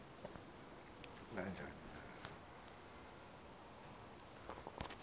na njani na